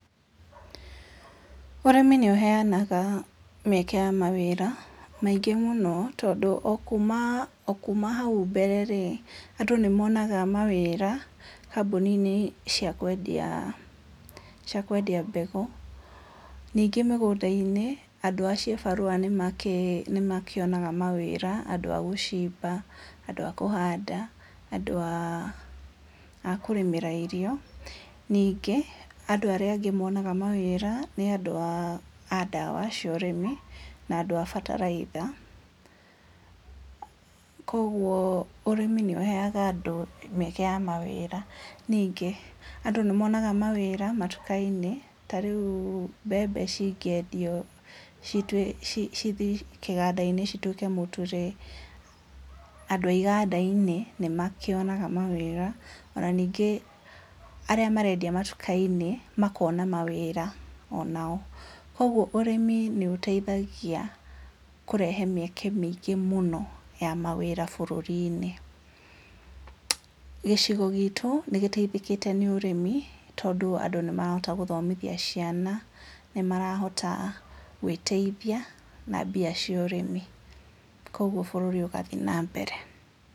Ũrĩmi nĩ ũheyanaga mĩeke ya mawĩra, maingĩ mũno, tondũ o kuma o kuma hau mbere rĩ, andũ nĩ monaga mawĩra, kambuni-inĩ cia kwendia cia kwendia mbegũ, ningĩ mĩgũnda-inĩ andũ a ciĩ barũa nĩ makĩ, nĩmakĩonaga mawĩra, andũ a gũcimba, andũ a kũhanda, andũ a a kũrĩmĩra irio, ningĩ andũ arĩa angĩ monaga mawĩra, nĩ andũ a ndawa cia ũrĩmi, na andũ a bataraitha, kwoguo ũrĩmi nĩ ũheyaga andũ mĩeke ya mawĩra, ningĩ andũ nĩ monaga mawĩra matuka-inĩ, ta rĩu mbembe cingĩendio, citwe, ci cithiĩ kĩganda-inĩ cituĩke mũtu rĩ, andũ a iganda-inĩ nĩ makĩonaga mawĩra, ona ningĩ arĩa marendia matuka-inĩ, makona mawĩra onao, koguo ũrĩmi nĩ ũteithagia kũrehe mĩeke mĩingĩ mũno, ya mawĩra bũrũri-inĩ, gĩcigo gitu nĩ gĩteithĩkĩte nĩ ũrĩmi, tondũ andũ nĩ marahota gũthomithia ciana, nĩ marahota gwĩteithia na mbia cio ũrĩmi, koguo bũrũri ũgathiĩ na mbere.